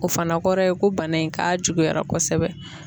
O fana kɔrɔ ye ko bana in k'a juguyara kosɛbɛ.